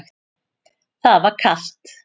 Það var kalt.